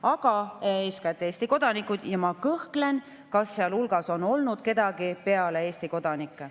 Aga eeskätt on need Eesti kodanikud ja ma kõhklen, kas seal hulgas on olnud kedagi teist peale Eesti kodanike.